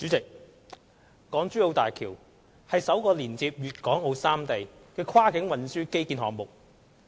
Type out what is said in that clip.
代理主席，港珠澳大橋是首個連接粵港澳三地的跨境運輸基建項目。